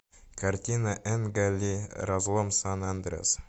картина энга ли разлом сан андреас